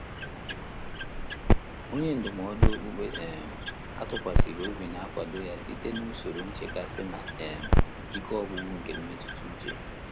Ọ́nyé ndụ́mọ́dụ́ ókpùkpé um á tụ́kwàsị̀rị̀ óbí nà-ákwàdò yá sìté n’ùsòrò nchékàsị́ nà um íké ọ́gwụ́gwụ́ nké mmétụ́tà úchè.